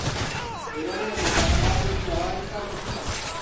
Nĩũronire mũthako wa mũbira wa gĩkabu ira?